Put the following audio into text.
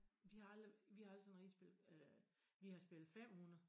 Vi har aldrig vi har aldrig sådan rigtig spillet øh vi har spillet 500